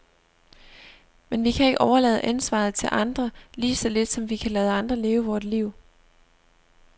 Men vi kan ikke overlade ansvaret til andre, lige så lidt som vi kan lade andre leve vort liv.